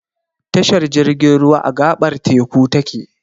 Tashar jirgin ruwa, a gaɓar teku ta ke.